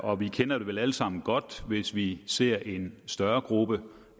og vi kender det vel alle sammen godt hvis vi ser en større gruppe